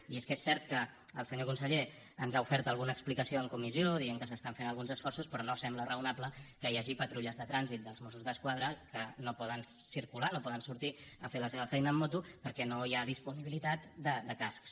i és que és cert que el senyor conseller ens ha ofert alguna explicació en comissió dient que s’estan fent alguns esforços però no sembla raonable que hi hagi patrulles de trànsit dels mossos d’esquadra que no poden circular no poden sortir a fer la seva feina amb moto perquè no hi ha disponibilitat de cascs